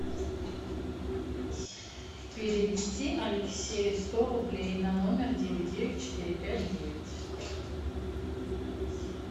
перевести алексею сто рублей на номер девять девять четыре пять девять